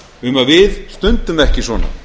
um að við stundum ekki svona